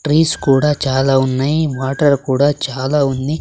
Trees కూడా చాలా ఉన్నాయ్ వాటర్ కూడా చాలా ఉంది.